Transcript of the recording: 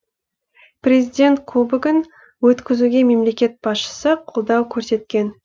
президент кубогін өткізуге мемлекет басшысы қолдау көрсеткен